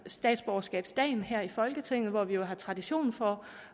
statsborgerskabsdagen her i folketinget hvor vi jo har tradition for